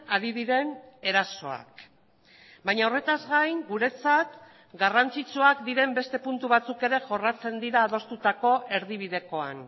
ari diren erasoak baina horretaz gain guretzat garrantzitsuak diren beste puntu batzuk ere jorratzen dira adostutako erdibidekoan